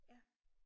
Ja